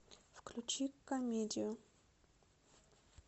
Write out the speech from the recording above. включи комедию